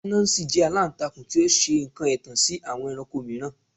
Anansi jẹ alantakun ti o ṣe awọn nkan ẹtan si awọn ẹranko miiran